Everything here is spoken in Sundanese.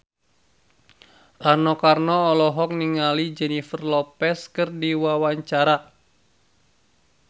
Rano Karno olohok ningali Jennifer Lopez keur diwawancara